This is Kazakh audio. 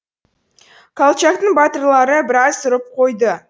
колчактың батырлары біраз ұрып қойды